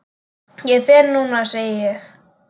Ég fer núna, segi ég.